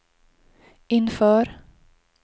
inför